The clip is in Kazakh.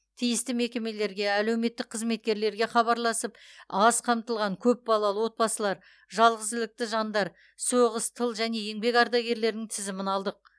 тиісті мекемелерге әлеуметтік қызметкерлерге хабарласып аз қамтылған көпбалалы отбасылар жалғызілікті жандар соғыс тыл және еңбек ардагерлерінің тізімін алдық